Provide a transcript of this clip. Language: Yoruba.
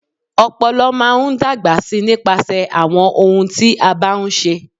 Ọ̀pọ̀lọ́pọ̀ máa n dágbà sí nípasẹ̀ àwọn ohun tí a bá ń ṣe.